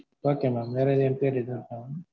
okay mam வேற எதும் enquiries இருக்கா mam?